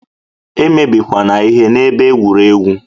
E mebikwana ihe n'ebe egwuregwu!